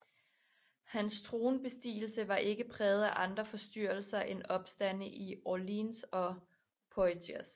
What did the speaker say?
Hans tronbestigelse var ikke præget af andre forstyrrelser end opstande i Orléans og Poitiers